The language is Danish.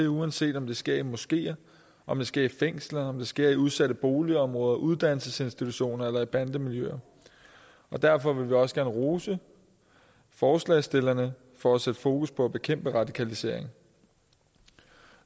uanset om det sker i moskeer om det sker i fængsler om det sker i udsatte boligområder uddannelsesinstitutioner eller i bandemiljøer derfor vil vi også gerne rose forslagsstillerne for at sætte fokus på at bekæmpe radikalisering